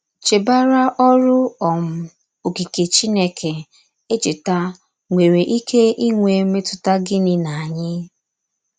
Chèbàrà òrụ́ um òkìkè Chìnékè èchètà nwerè íké ínwè mètùtà gịní n’ányí?